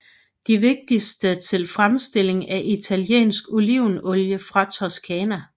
De vigtigste til fremstilling af italiensk olivenolie fra Toskana